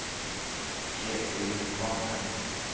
Ketil Kvamme